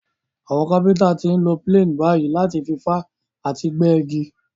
Àwon carpenter ti n lo planes bàyí láti fi fá àti gbẹ́ igi